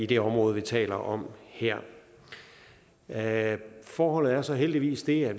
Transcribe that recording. det område vi taler om her her forholdet er så heldigvis det at